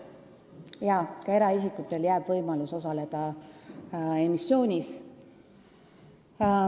Jaa, ka eraisikutele antakse võimalus osaleda emissioonis.